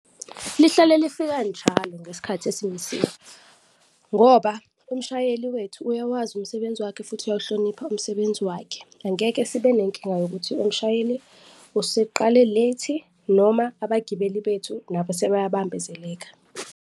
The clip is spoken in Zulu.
Lihlale lifika njalo ngesikhathi esimisiwe ngoba umshayeli wethu uyawazi umsebenzi wakhe futhi uyawuhlonipha umsebenzi wakhe, angeke sibe nenkinga yokuthi umshayeli useqale late-i noma abagibeli bethu nabo sebayabambezeleka.